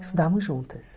Estudávamos juntas.